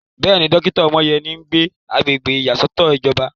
Bẹ́ẹ̀ni, dókítà Omoyeni sì ń gbé agbègbè ìyàsọ́tọ̀ ìjọba.